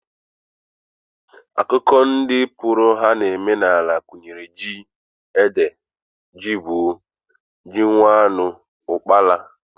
Akụkụ ndị mkpụrụ ha na-emi n'ala gụnyere ji, ede, jigbọ, ji nwannu, ụkpaala